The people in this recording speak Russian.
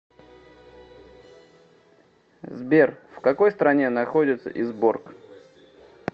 сбер в какой стране находится изборк